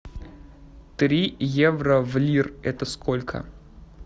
три евро в лир это сколько